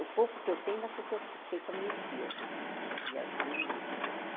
O pouco que eu sei ainda foi que eu sei com as minhas tias lá, minhas mães, meus pais.